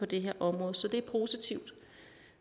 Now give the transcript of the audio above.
det her område så det er positivt